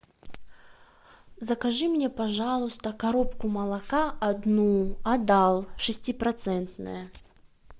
закажи мне пожалуйста коробку молока одну адал шестипроцентное